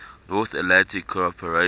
north atlantic cooperation